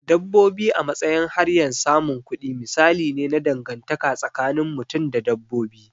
Dabbobi a matsayin hanyar samun kudi misali ne na dangantaka tsakinin mutum da dabbobi.